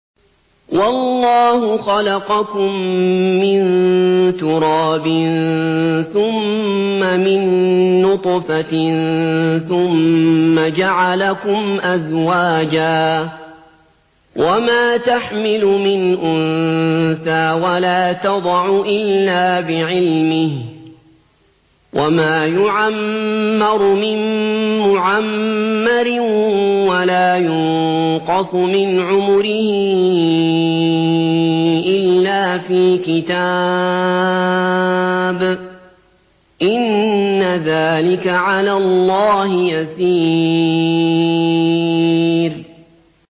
وَاللَّهُ خَلَقَكُم مِّن تُرَابٍ ثُمَّ مِن نُّطْفَةٍ ثُمَّ جَعَلَكُمْ أَزْوَاجًا ۚ وَمَا تَحْمِلُ مِنْ أُنثَىٰ وَلَا تَضَعُ إِلَّا بِعِلْمِهِ ۚ وَمَا يُعَمَّرُ مِن مُّعَمَّرٍ وَلَا يُنقَصُ مِنْ عُمُرِهِ إِلَّا فِي كِتَابٍ ۚ إِنَّ ذَٰلِكَ عَلَى اللَّهِ يَسِيرٌ